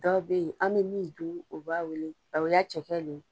Dɔw bɛ yen, an bɛ min dun o b'a wele cɛkɛ le ye.